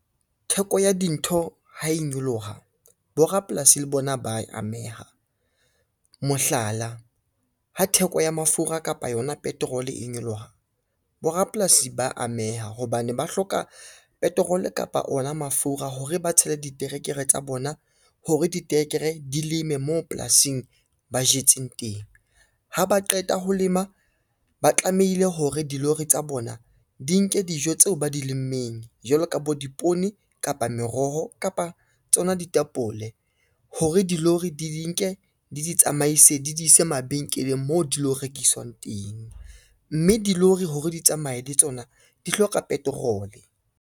Theko ya dintho ha e nyoloha borapolasi le bona ba ameha. Mohlala, ha theko ya mafura kapa yona petrol e nyoloha, borapolasi ba ameha hobane ba hloka petrol kapa ona mafura hore ba tshele diterekere tsa bona hore diterekere di leme moo polasing ba jetseng teng. Ha ba qeta ho lema, ba tlamehile hore dilori tsa bona di nke dijo tseo ba di lemmeng jwalo ka bo dipoone, kapa meroho, kapa tsona ditapole, hore dilori di nke di di tsamaise di di ise mabenkeleng moo di lo rekiswang teng, mme dilori hore di tsamaye le tsona di hloka petrol-e.